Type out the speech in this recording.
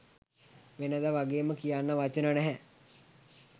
වෙනද වගේම කියන්න වචන නැහැ